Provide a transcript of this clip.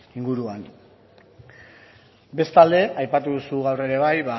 inguruan bestalde aipatu duzu gaur ere bai